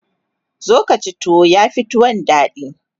zo Kaci tuwo yafi tuwon daɗi